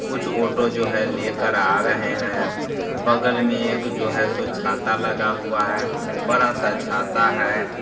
कुछ ऑटो जो है लेकर आ रहे है बगल में एक जो है सो छाता लगा हुआ है बड़ा सा छाता है।